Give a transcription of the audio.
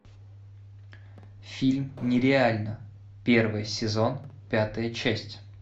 фильм нереально первый сезон пятая часть